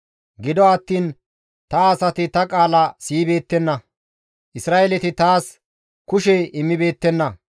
«Gido attiin ta asati ta qaala siyibeettenna; Isra7eeleti taas kushe immibeettenna.